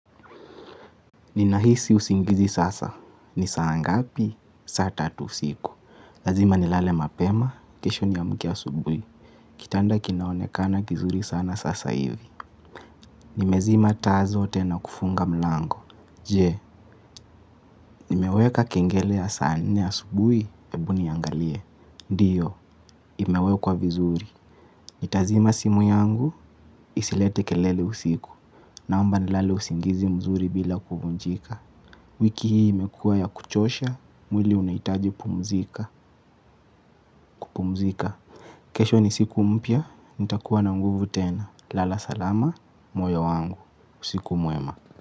Ninahisi usingizi sasa. Ni saa ngapi? Saa tatu usiku. Lazima nilale mapema. Kesho niamke asubuhi. Kitanda kinaonekana kizuri sana sasa hivi. Nimezima tazo tena kufunga mlango. Je, nimeweka kengele ya saa nne asubuhi, hebu niangalie. Ndio, imewekwa vizuri. Nitazima simu yangu, isilete kelele usiku. Naomba nilale usingizi mzuri bila kuvunjika. Wiki hii imekuwa ya kuchosha, mwili unahitaji pumzika, kupumzika. Kesho ni siku mpya, nitakuwa na nguvu tena. Lala salama, moyo wangu, usiku mwema.